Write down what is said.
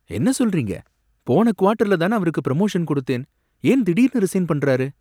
என்ன சொல்றீங்க? போன குவாட்டர்ல தானே அவருக்கு பிரமோஷன் கொடுத்தேன்! ஏன் திடீர்னு ரிசைன் பண்றாரு?